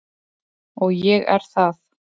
Og ég er það.